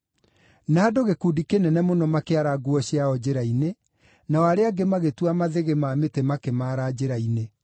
Na andũ gĩkundi kĩnene mũno makĩara nguo ciao njĩra-inĩ, nao arĩa angĩ magĩtua mathĩgĩ ma mĩtĩ makĩmaara njĩra-inĩ.